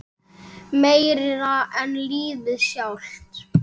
Meira en lífið sjálft.